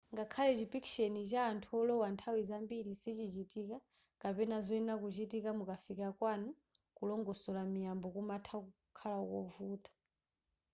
ngakhale chipikisheni cha anthu olowa nthawi zambiri sichichitika kapena zoyenera kuchitika mukafika kwanu kulongosora miyambo kumatha kukhala kovuta